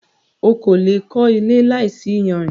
O kò le è kó ilé láìsí iyanrìn.